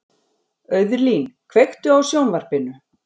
Auðlín, kveiktu á sjónvarpinu.